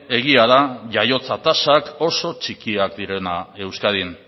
egia da jaiotza tasak oso txikiak direna euskadin